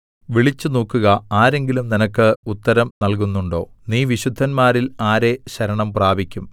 വിളിച്ചുനോക്കുക ആരെങ്കിലും നിനക്ക് ഉത്തരം നൽകുന്നുണ്ടോ നീ വിശുദ്ധന്മാരിൽ ആരെ ശരണം പ്രാപിക്കും